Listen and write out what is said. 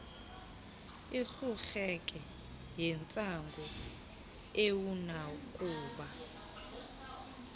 urhurheke yintsangu awunakuba